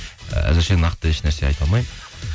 әзірше нақты ешнәрсе айта алмаймын